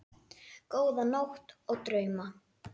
Góða nótt og drauma.